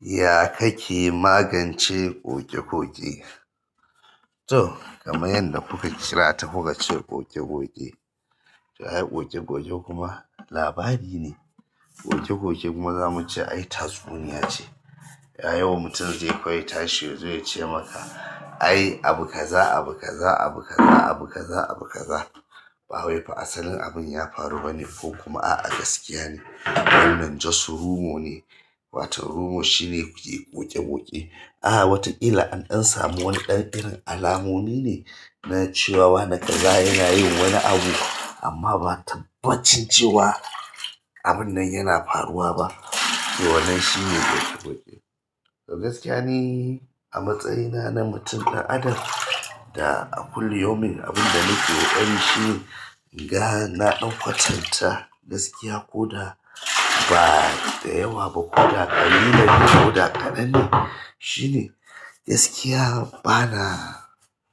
Ya ka ke magance koke-koke? To kamai yanda kuka kira ta, kuka ce goge goge to ai goge goge kuma labari ne. Goge goge kuma zamu ce ai tatsuniya ce. Yayi wa mutum zai kawai tashe ya zo ya ce maka ai abu kaza, abu kaza, abu kaza, abu kaza, abu kaza. Ba wai fa asalin abun ya faru ba ne ko kuma a a gaskiya ne. Abun nan just rumor ne. Wato rumor shine yake ƙoƙe-ƙoƙe. A wataƙila an ɗan samu wani ɗan irin alamomi ne na cewa wane kaza yana yin wani abu amma ba tabbacin cewa abun nan yana faruwa ba. To wannan shine roƙe roƙe. To gaskiya ni a matsayina na mutum ɗan adam da a kulli yaumin abin da nake ƙoƙarin shi, in ga na ɗan kwatanta gaskiya ko da ba da yawa ba ko da ƙarami ne ko da ƙadanne shine gaskiya bana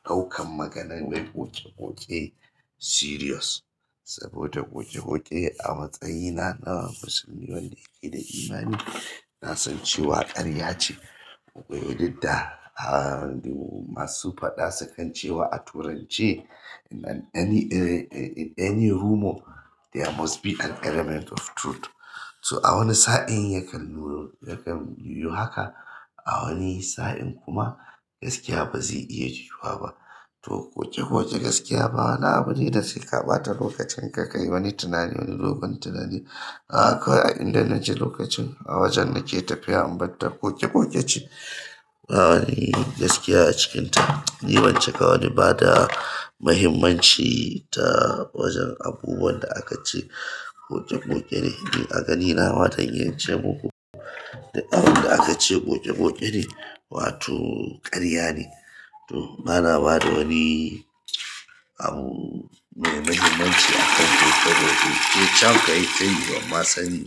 ɗaukan maganan mai ƙoƙe-ƙoƙe serious. Saboda ƙoƙe-ƙoƙe a matsayina na musulmi wanda yake da imani, na san cewa ƙarya ce. Duk da masu faɗa sukan cewa a turance in any, any rumor there must be an element of truth. So a wani sa'in yakan yiyu haka a wani sa'in kuma gaskiya ba zai iya yiwuwa ba. To ƙoƙe-ƙoƙe gaskiya bawani abu ne da sai ƙabata lokacin ka kai wani tunani wani dogon tunani. A akwai a inda na je lokacin a wajen nake tafiya, in batta ƙoƙe-ƙoƙe ce ba wani gaskiya a cikinta. Ni bancika wani bada mahimmanci ta wajen abubuwan da aka ce ƙoƙe-ƙoƙe ne. Ni a ganina ma zan iya ce muku duk abin da aka ce ƙoƙe-ƙoƙe ne wato karya ne. To bana bada wani abu mai muhimmanci a kan ƙoƙe-ƙoƙe. To can ka yi, tayi bamma sani.